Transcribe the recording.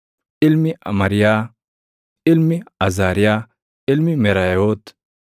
ilmi Amariyaa, ilmi Azaariyaa, ilmi Meraayoot,